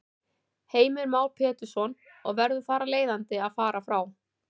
Heimir Már Pétursson: Og verður þar af leiðandi að fara frá?